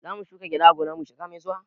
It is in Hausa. Zamu shuka gyada a gonar mu shekara mai zuwa